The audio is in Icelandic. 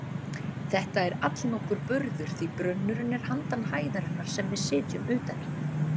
Þetta er allnokkur burður því brunnurinn er handan hæðarinnar sem við sitjum utan í.